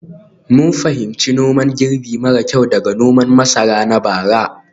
mun fahimci noman girbi mara kyau daga noman masara na bara.